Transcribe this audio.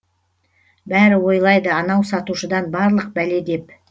бәрі ойлайды анау сатушыдан барлық бәле деп